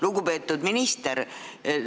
Lugupeetud minister!